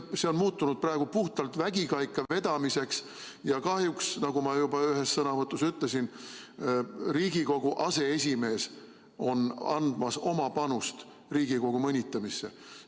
See on muutunud praegu puhtalt vägikaikavedamiseks ja kahjuks, nagu ma juba ühes sõnavõtus ütlesin, Riigikogu aseesimees on andmas oma panust Riigikogu mõnitamisse.